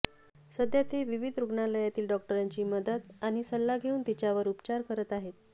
सध्या ते विविध रुग्णालयातील डॉक्टरांची मदत आणि सल्ला घेऊन तिच्यावर उपचार करत आहेत